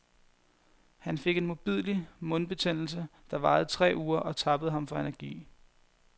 Han fik en modbydelig mundbetændelse, der varede tre uger og tappede ham for energi.